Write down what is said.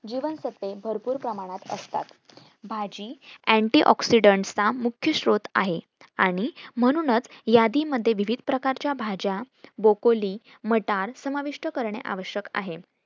जीवनसत्वे भरपूर प्रमाणात असता भाजी antioxidant चा मुख्य श्रोत आहे आणि म्हणूनच यादी मध्ये विविध प्रकारच्या भाजा brokaly मटार समाविष्ट करणे आवश्यक आहे